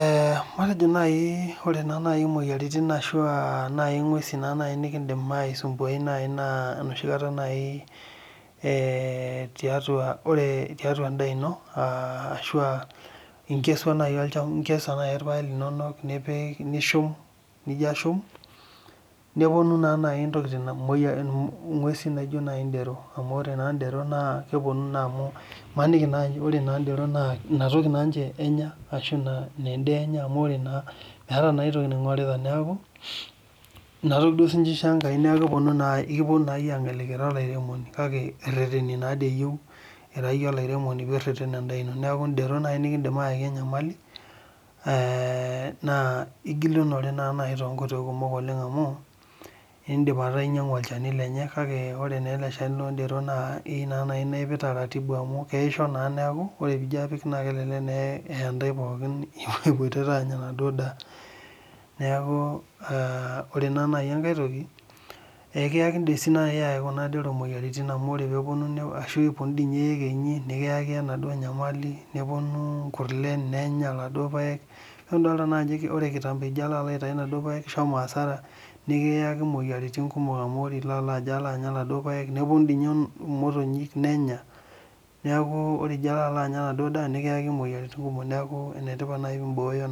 Ore nai moyiaritin ashu ngwesu nikidim aisumbuai nai enoshikata nai tiatu endaa ino ashu inkesua nai irpaek linono nijo ashum neponu nai ngwesu naijo ndero amu ore nai ndero imaniki nai ore ndero na inatoki duo sinche ishoo enkai neaku keponu na iyie angeliki ira olaremoni kake ireteni natoi iyieu ira iyie olaremoni nireten endaa ino neaku ndero nai nikindim ayaki enyamali na igulunore natoi amu ele Shani lenye na keyieu nipik tetaratibu oleng amu keyaisho na kelelek ijo apik neya ntae pooki ipoitoto anya enaduo daa neaku ore enkae toki akeidim nai kuna kero ayaki moyiaritin amu ore peponu ashu eponu ekenyi nikiyaki emaduo nyamali nikiyaki moyiaritin kumok amu ore ijobalo anya enaduo daa nikiyaki moyiaritin kumok neaku enetipat pimbooyo